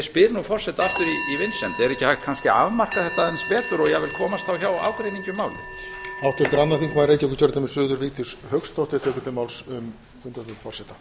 spyr nú forseta aftur í vinsemd er ekki hægt kannski að afmarka þetta aðeins betur og jafnvel komast þá hjá ágreiningi um málið